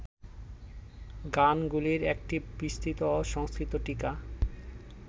গানগুলির একটি বিস্তৃত সংস্কৃত টীকা